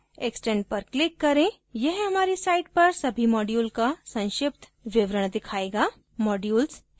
extend पर click करें यह हमारी site पर सभी modules का संक्षिप्त विवरण दिखायेगा